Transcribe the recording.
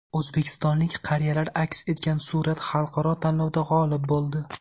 O‘zbekistonlik qariyalar aks etgan surat xalqaro tanlovda g‘olib bo‘ldi.